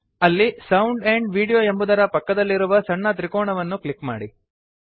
ಅಲ್ಲಿ sound amp video ಎಂಬುದರ ಪಕ್ಕದಲ್ಲಿರುವ ಸಣ್ಣ ತ್ರಿಕೋಣವನ್ನು ಕ್ಲಿಕ್ ಮಾಡಿ